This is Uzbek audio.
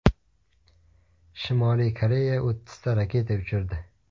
Shimoliy Koreya o‘ttizta raketa uchirdi.